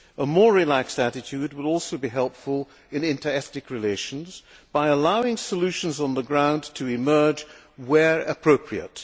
A more relaxed attitude will also be helpful in inter ethnic relations by allowing solutions on the ground to emerge where appropriate.